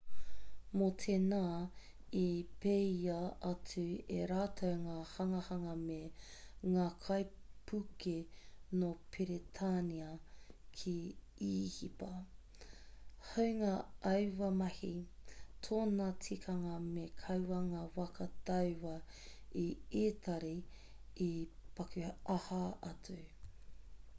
mō tēnā i peia atu e rātou ngā hanganga me ngākaipuke nō peretānia ki īhipa hāunga aua mahi tōna tikanga me kaua ngā waka tauā a itari e paku aha atu